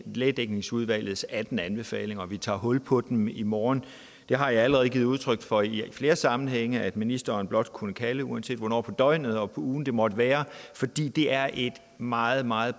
lægedækningsudvalgets atten anbefalinger og at vi tager hul på dem i morgen det har jeg allerede givet udtryk for i flere sammenhænge altså at ministeren blot kunne kalde uanset hvornår på døgnet og på ugen det måtte være fordi det er en meget meget